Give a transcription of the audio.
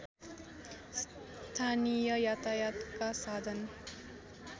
स्थानीय यातायातका साधन